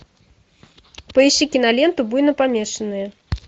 поищи киноленту буйнопомешанные